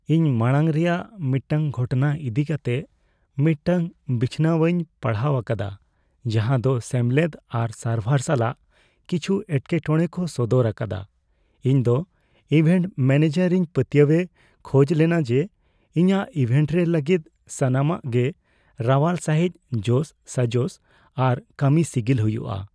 ᱤᱧ ᱢᱟᱲᱟᱝ ᱨᱮᱭᱟᱜ ᱢᱤᱫᱴᱟᱝ ᱜᱷᱚᱴᱱᱟ ᱤᱫᱤ ᱠᱟᱛᱮ ᱢᱤᱫᱴᱟᱝ ᱵᱤᱪᱷᱚᱱᱟᱣᱤᱧ ᱯᱟᱲᱦᱟᱣ ᱟᱠᱟᱫᱟ ᱡᱟᱦᱟᱸ ᱫᱚ ᱥᱮᱢᱞᱮᱫ ᱟᱨ ᱥᱟᱨᱵᱷᱟᱨ ᱥᱟᱞᱟᱜ ᱠᱤᱪᱷᱩ ᱮᱴᱠᱮᱴᱚᱲᱮ ᱠᱚ ᱥᱚᱫᱚᱨ ᱟᱠᱟᱫᱟ ᱾ ᱤᱧ ᱫᱚ ᱤᱵᱷᱮᱱᱴ ᱢᱮᱹᱱᱮᱡᱟᱨ ᱤᱧ ᱯᱟᱹᱛᱭᱟᱹᱣᱮ ᱠᱷᱚᱡ ᱞᱮᱱᱟ ᱡᱮ ᱤᱧᱟᱹᱜ ᱤᱵᱷᱮᱱᱴ ᱨᱮ ᱞᱟᱹᱜᱤᱫ ᱥᱟᱱᱟᱢᱟᱜ ᱜᱮ ᱨᱟᱣᱟᱞ ᱥᱟᱹᱦᱤᱡ ᱡᱳᱜᱼᱥᱟᱡᱚᱥ ᱟᱨ ᱠᱟᱹᱢᱤ ᱥᱤᱜᱤᱞ ᱦᱩᱭᱩᱜᱼᱟ ᱾